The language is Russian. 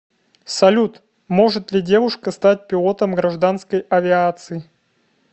салют может ли девушка стать пилотом гражданской авиации